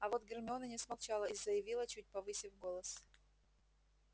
а вот гермиона не смолчала и заявила чуть повысив голос